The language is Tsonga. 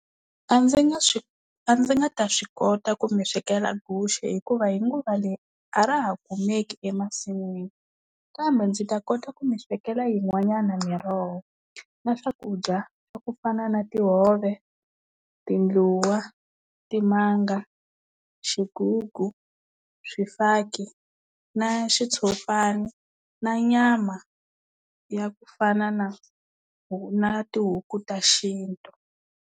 A ndzi nga swi a ndzi nga ta swi kota ku mi swekela guxe hikuva hi nguva leyi a ra ha kumeki emasin'wini kambe ndzi ta kota ku mi swekela yin'wanyana miroho na swakudya swa ku fana na tihove, tindluwa, timanga, xigugu, swifaki na xitshopani na nyama ya ku fana na na tihuku ta xintu.